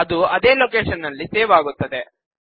ಅದು ಅದೇ ಲೋಕೇಶನ್ ನಲ್ಲಿ ಸೇವ್ ಆಗುತ್ತದೆ